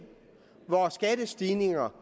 hvor skattestigninger